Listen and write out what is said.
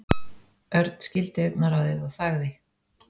Örn skildi augnaráðið og þagði.